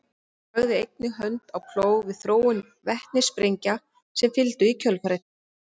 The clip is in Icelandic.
hann lagði einnig hönd á plóg við þróun vetnissprengja sem fylgdu í kjölfarið